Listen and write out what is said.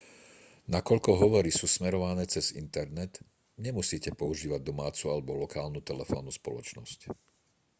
nakoľko hovory sú smerované cez internet nemusíte používať domácu alebo lokálnu telefónnu spoločnosť